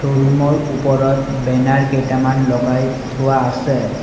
ৰুমৰ ওপৰত বেনাৰ কেইটামান লগাই থোৱা আছে।